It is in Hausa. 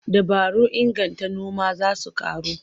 Dabarun inganta noma za su ƙaru.